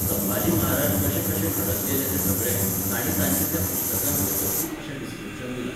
संभाजी महाराज कशे कशे घडत गेले तें सगळें, तांणी ताचें त्या पुस्तकांत वेवस्थीत अशें डिसक्रिप्शन दिलां.